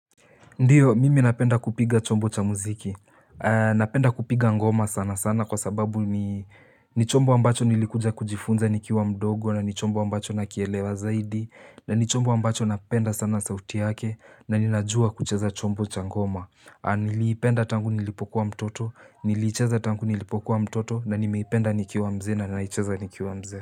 Ndiyo mimi napenda kupiga chombo cha muziki, napenda kupiga ngoma sana sana kwa sababu ni ni chombo ambacho nilikuja kujifunza nikiwa mdogo, na ni chombo ambacho nakielewa zaidi na ni chombo ambacho napenda sana sauti yake na ninajua kucheza chombo cha ngoma. Niliipenda tangu nilipokuwa mtoto, niliicheza tangu nilipokuwa mtoto na nimeipenda nikiwa mzee na naicheza nikiwa mzee.